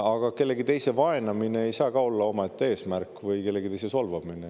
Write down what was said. Aga kellegi teise vaenamine ei saa ka olla omaette eesmärk, või kellegi teise solvamine.